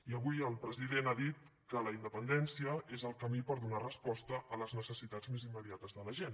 i avui el president ha dit que la independència és el camí per donar resposta a les necessitats més immediates de la gent